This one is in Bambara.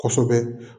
Kosɛbɛ